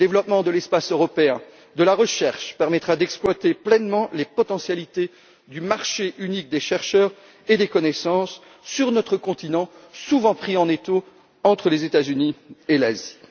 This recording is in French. Le développement de l'espace européen de la recherche permettra d'exploiter pleinement les potentialités du marché unique des chercheurs et des connaissances sur notre continent, souvent pris en étau entre les États Unis et l'Asie.